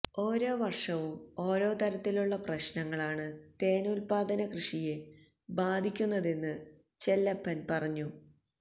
ഓരോവര്ഷവും ഓരോ തരത്തിലുള്ള പ്രശ്നങ്ങളാണ് തേന് ഉത്പാദനകൃഷിയെ ബാധിത്തുന്നതെന്ന് ചെല്ലപ്പന് പറഞ്ഞു